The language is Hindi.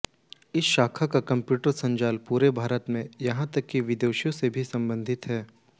इस शाखा का कम्प्यूटर संजाल पूरे भारत यहां तक कि विदेशों से भी संबद्ध है